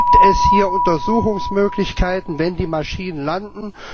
Gibt es hier Untersuchungsmöglichkeiten, wenn die Maschinen landen?